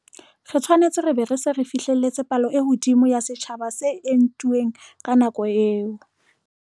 Re tshwanetse re be re se re fihlelletse palo e hodimo ya setjhaba se entuweng ka nako eo.